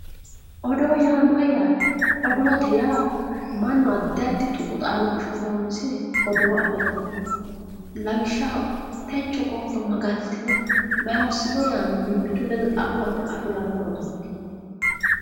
Oddo ya mayate oddi ya manu adi tuqu xadoshe horosire oddo afirawono lawishaho techo gibba ma galitino ma hosino yanni mimitu leddo xamame afirano oddoti